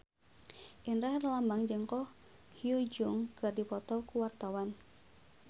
Indra Herlambang jeung Ko Hyun Jung keur dipoto ku wartawan